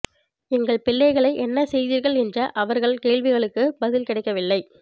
எங்கள் பிள்ளைகளை என்ன செய்தீர்கள் என்ற அவர்கள் கேள்விகளுக்குப் பதில் கிடைக்க வில்லை